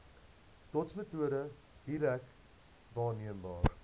dotsmetode direk waarneembare